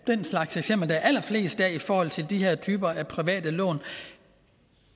slags eksempler der er allerfleste af i forhold til de her typer af private lån